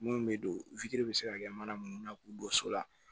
Mun bɛ don bɛ se ka kɛ mana minnu na k'u don so la